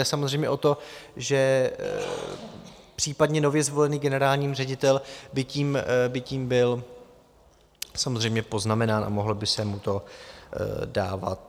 Jde samozřejmě o to, že případně nově zvolený generální ředitel by tím byl samozřejmě poznamenán a mohlo by mu to uškodit.